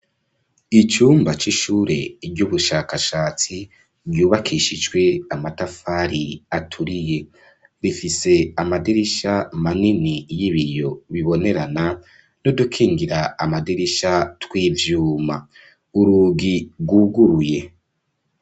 Icumba c'ishure ry'ubushakashatsi ryubakishijwe amatafari aturiye. Rifise amadirisha manini y'ibiyo bibonerana n'udukingira amadirisha tw'ivyuma. Urugi rwuguruye.